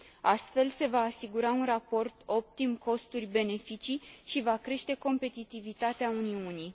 Astfel, se va asigura un raport optim costuri beneficii și va crește competitivitatea Uniunii.